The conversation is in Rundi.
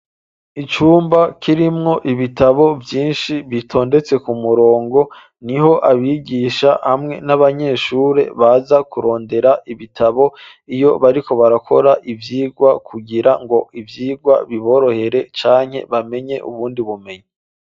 icumba k'irimwo ibitabo vyinshi bitondetse ku murongo niho abigisha hamwe n'abanyeshuri baza kurondera ibitabo iyo bariko barakora ivyigwa kugira ngo ivyigwa biborohere cane bamenye ubundi bumenyi